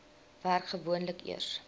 werk gewoonlik eers